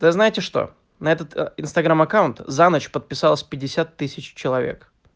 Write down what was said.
да знаете что на этот инстаграм аккаунт за ночь подписалось пятьдесят тысяч человек